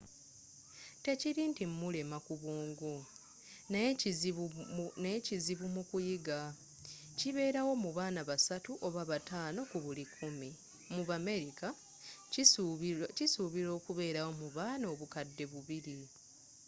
tekiri nti mulema ku bwongo naye kizibu mu kuyiga kibeerawo mu baana basatu oba batano ku buli kikumi mu bamerika kisubirwa okubeera mu baana obukadde bubiri